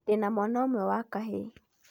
Ndĩna mwana ũmwe wa kahĩĩ.